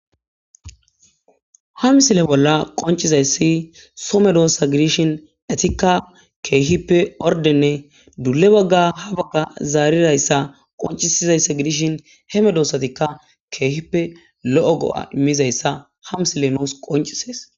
hamsile bolla qoncizayssi some doossa gidishin etikka keehippe ordenne duule bagga ha bagga zaarirayssa qoncisizayssa gidishin heme doosatikka keehippe lo7o go7a immizayssa hamsile noos qoncisees